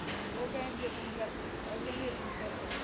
ਉਹ ਕਹਿ ਦਿੰਦੀ ਆ ਤੂੰ ਕਰ ਉਹ ਕਹਿੰਦੀ ਆ ਤੂੰ ਕਰ